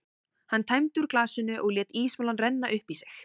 Hann tæmdi úr glasinu og lét ísmolann renna upp í sig.